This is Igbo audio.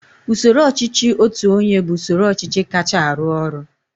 usoro ọchịchị otu onye bụ usoro ọchịchị kacha arụ ọrụ